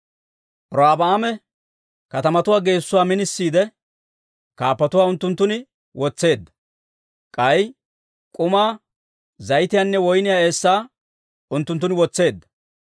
Robi'aame katamatuwaa geessuwaa minisiide, kaappatuwaa unttunttun wotseedda; k'ay k'umaa, zayitiyaanne woyniyaa eessaa unttunttun wotseedda.